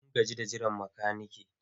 Mun gaji da jiran makanike.